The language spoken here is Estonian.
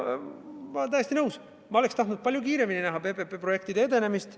Ma olen täiesti nõus, ka ma ise oleksin tahtnud palju kiiremini näha PPP-projektide edenemist.